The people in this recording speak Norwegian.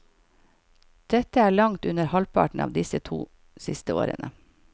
Dette er langt under halvparten av de to siste årene.